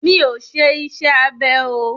Mi ọ̀ ṣe iṣẹ́ abẹ o.